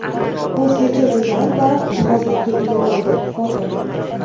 o‘zgacha dizayn va jihozlarga ega bo‘ldi (foto).